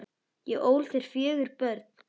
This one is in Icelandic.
Ég ól þér fjögur börn.